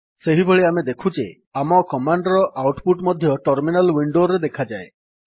ସେହିଭଳି ଆମେ ଦେଖୁ ଯେ ଆମ କମାଣ୍ଡ୍ ର ଆଉଟ୍ ପୁଟ୍ ମଧ୍ୟ ଟର୍ମିନାଲ୍ ୱିଣ୍ଡୋରେ ଦେଖାଯାଏ